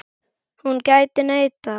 Hún gæti neitað.